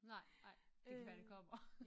Nej nej det kan være det kommer